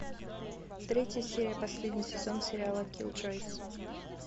третья серия последний сезон сериала киллджойс